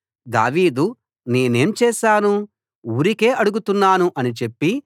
దావీదు నేనేం చేశాను ఊరికే అడుగుతున్నాను అని చెప్పి